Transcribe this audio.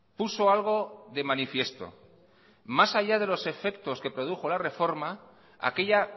puso algo de manifiesto más allá de los efectos que produjo la reforma aquella